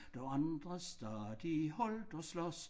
Da andre stadig holdt og slås